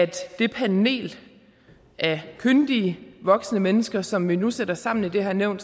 det panel af kyndige voksne mennesker som vi nu sætter sammen i det her nævn